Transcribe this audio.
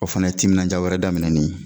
O fana ye timinaja wɛrɛ daminen ye